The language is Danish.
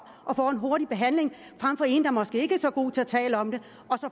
og får en hurtig behandling frem for en der måske ikke er så god til at tale om det